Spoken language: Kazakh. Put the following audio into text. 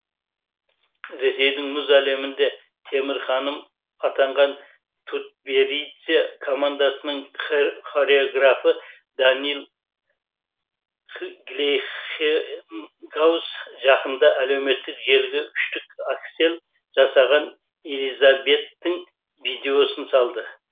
ресейдің мұз әлемінде темір ханым атанған тутберидзе командасының хореографы даниил глейхенгауз жақында әлеуметтік желіге үштік аксель жасаған элизабеттің видеосын салды